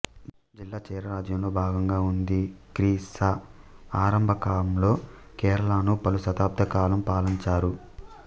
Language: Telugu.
జిల్లా చేరరాజ్యంలో భాగంగా ఉంది క్రీ శ ఆరంభకాంలో కేరళను పలు శతాబ్ధాలకాలం పాలంచారు